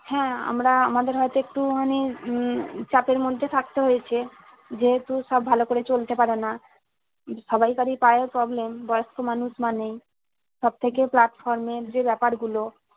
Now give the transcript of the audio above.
হ্যাঁ আমরা আমাদের হয়তো একটু মানে উম চাপের মধ্যে থাকতে হয়েছে যেহেতু সব ভালো করে চলতে পারেনা সবাই কারী পায়ের problem বয়স্ক মানুষ মানেই সব থেকে platform এর যে বেপার গুলো